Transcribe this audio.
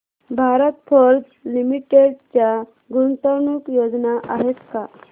Bharat forge limited च्या गुंतवणूक योजना आहेत का